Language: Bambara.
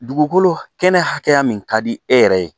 Dugukolo kɛnɛ hakɛya min ka di e yɛrɛ ye